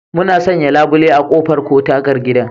Mun sanya labule a ƙofar ko tagar gidan